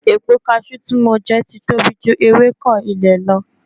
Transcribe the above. Epo cashew tí mo jẹ ti tóbi ju ewéko ilẹ̀ lọ